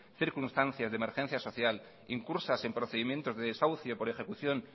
circunstancias de emergencia social incursas en procedimientos de desahucio por ejecución